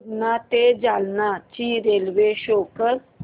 पूर्णा ते जालना ची railway show कर